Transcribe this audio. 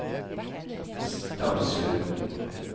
Stamsund